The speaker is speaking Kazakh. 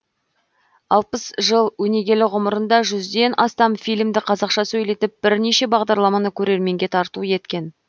алпыс жыл өнегелі ғұмырында жүзден астам фильмді қазақша сөйлетіп бірнеше бағдарламаны көрерменге тарту еткен